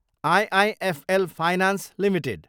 IIFL finance Ltd